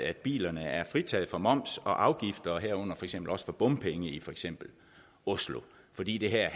at bilerne er fritaget for moms og afgifter herunder også for bompenge i for eksempel oslo fordi det her